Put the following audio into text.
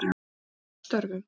Ljósmóðir að störfum.